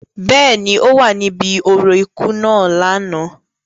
Bẹ́ẹ̀ni, o wa ni ibi orȯ iku naa lánà.